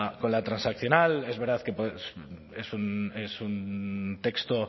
con la transaccional es verdad que es un texto